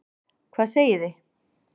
Hvað segið þið?